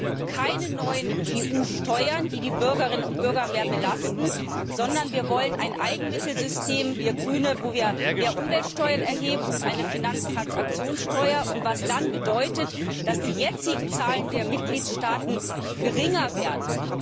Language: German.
Wir wollen keine neuen EU Steuern, die die Bürgerinnen und Bürger mehr belasten, sondern wir Grüne wollen ein Eigenmittelsystem, wo wir mehr Umweltsteuern erheben, und eine Finanztransaktionssteuer, was dann bedeutet, dass die jetzigen Zahlungen der Mitgliedstaaten geringer werden!